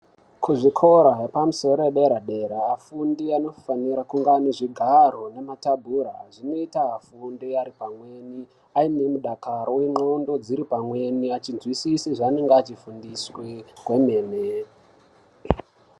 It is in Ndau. Kuzvikora yepamusoro yedera-dera afundi anofanira kunga ane zvigaro nemathebhura zvinoita afunde Ari pamweni aine mudakaro uye ndxondo dziri pamweni achizwisise zvanenge achifundiswe.